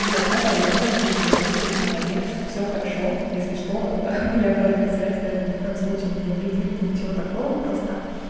вот наталья в любом случае вы молодец всё хорошо если что хи-хи моя обратная связь да это ни в коем случае не придирки ничего такого просто